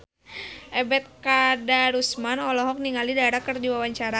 Ebet Kadarusman olohok ningali Dara keur diwawancara